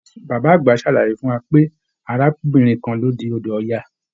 Bàbá àgbà sàlàyé pé arábìnrin kan ló di odò Ọya